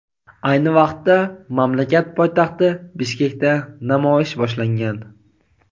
ayni vaqtda mamlakat poytaxti Bishkekda namoyish boshlangan.